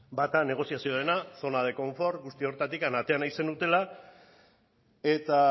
bata negoziazioarena zona de konfort guzti horretatik atera nahi zenutela eta